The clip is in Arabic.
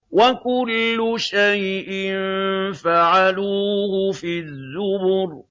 وَكُلُّ شَيْءٍ فَعَلُوهُ فِي الزُّبُرِ